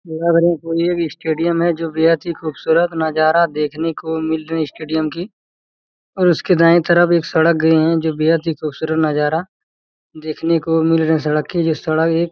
लग रहा है की ये एक स्टेडियम जो बेहद ही खूबसूरत नजारा देखने को मिल रही है स्टेडियम की और उसके दाए तरफ एक सड़क गई है जो बेहद ही ख़ूबसूरत नजारा देखने को मिल रही सड़क की जो सड़क एक--